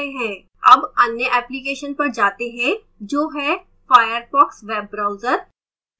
अब अन्य application पर जाते हैं जो है firefox web browser